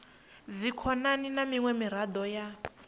dzikhonani na miṅwe miraḓo ya